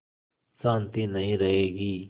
शान्ति नहीं रहेगी